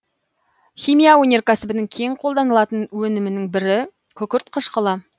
химия өнеркәсібінің кең қолданылатын өнімнің бірі күкірт қышқылы